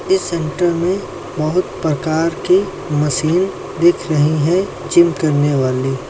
इस सेंटर में बहुत प्रकार की मशीन दिख रही हैं जिम करने वाली।